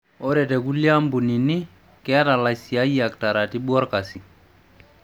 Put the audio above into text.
ore te kulie ampunini, keeta laisiayak taratibu olkasi.